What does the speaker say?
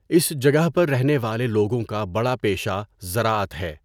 اس جگہ پر رہنے والے لوگوں کا بڑا پیشہ زراعت ہے۔